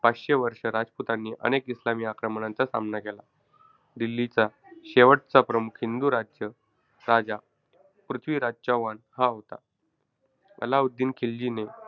पाचशे वर्षे राजपुतांनी अनेक इस्लामी आक्रमणांचा सामना केला. दिल्लीचा शेवटचा प्रमुख हिंदू राज्य~ राजा पृथ्वीराज चौहान हा होता. अल्लाउद्दीन खिलजीने,